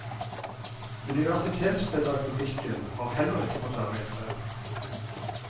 Universitetspedagogikken har heller ikke fått være i fred.